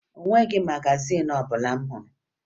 O nweghi magazin ọbụla m hụrụ